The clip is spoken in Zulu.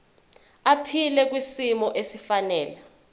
aphile kwisimo esifanele